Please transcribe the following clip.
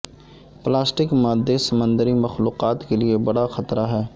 plastic مادے سمندری مخلوقات کے لیے بڑا خطرہ ہیں